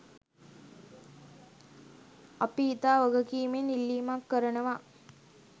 අපි ඉතා වගකීමෙන් ඉල්ලීමක් කරනවා.